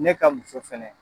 Ne ka muso fɛnɛ.